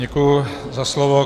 Děkuji za slovo.